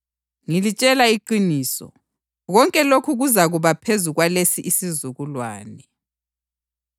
Ngilitshela iqiniso, konke lokhu kuzakuba phezu kwalesi isizukulwane.